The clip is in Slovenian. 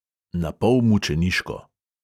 Napol mučeniško.